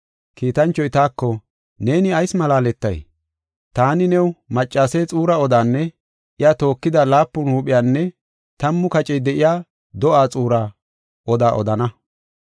Kiitanchoy taako, “Neeni ayis malaaletay? Taani new maccase xuura odaanne iya tookida laapun huupheynne tammu kacey de7iya do7aa xuura odaa odana.